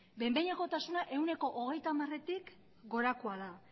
behin behinekotasuna ehuneko hogeita hamaretik gorakoa da